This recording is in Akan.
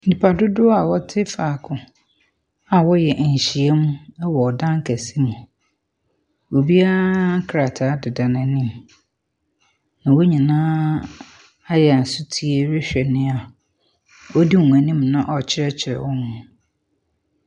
Nipadodoɔ a wɔte faako a wɔreyɛ nhyiam wɔ dan kɛse mu. Obiara krataa deda n'anim. Na wɔn nyinaa ayɛ sotie rehwɛ nea ɔdi wɔn anim na ɔrekyerɛkyerɛ wɔn no.